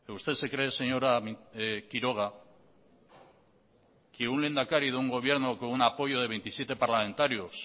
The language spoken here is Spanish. usted se cree señora quiroga que un lehendakari de un gobierno con un apoyo de veintisiete parlamentarios